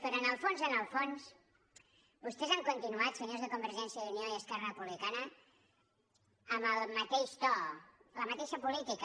però en el fons en el fons vostès han continuat senyors de convergència i unió i esquerra republicana amb el mateix to la mateixa política